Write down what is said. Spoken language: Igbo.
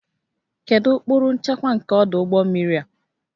Kedu ụkpụrụ nchekwa nke ọdụ ụgbọ mmiri a?